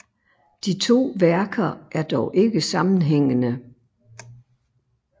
De to værker er dog ikke sammenhængende